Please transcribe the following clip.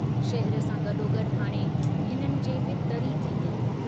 शहर सां गडोगड् हाणे हिननि जे बि तरी थींदी।